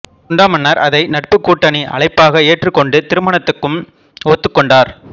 சுண்டா மன்னர் அதை நட்புக்கூட்டணி அழைப்பாக ஏற்றுக்கொண்டு திருமணத்துக்கும் ஒத்துக்கொண்டார்